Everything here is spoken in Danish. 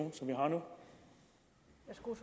for jeg